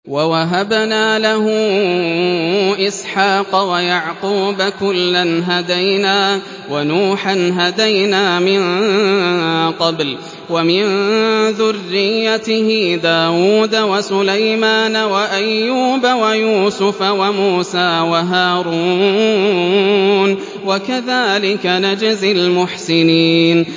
وَوَهَبْنَا لَهُ إِسْحَاقَ وَيَعْقُوبَ ۚ كُلًّا هَدَيْنَا ۚ وَنُوحًا هَدَيْنَا مِن قَبْلُ ۖ وَمِن ذُرِّيَّتِهِ دَاوُودَ وَسُلَيْمَانَ وَأَيُّوبَ وَيُوسُفَ وَمُوسَىٰ وَهَارُونَ ۚ وَكَذَٰلِكَ نَجْزِي الْمُحْسِنِينَ